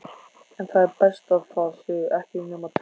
En það er best að það séu ekki nema tveir.